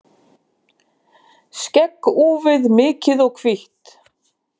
Skegg úfið, mikið og hvítt.